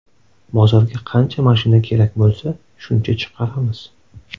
Bozorga qancha mashina kerak bo‘lsa, shuncha chiqaramiz”.